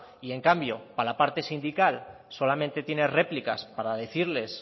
y en cambio para la parte sindical solamente tiene réplicas para decirles